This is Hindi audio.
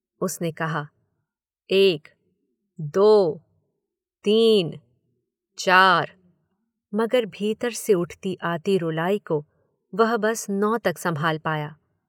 उसने कहा। एक। दो। तीन। चार, मगर भीतर से उठती आती रुलाई को वह बस नौ तक संभाल पाया।